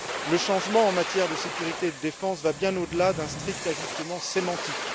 Le changement en matière de sécurité et de défense va bien au delà d'un strict ajustement sémantique.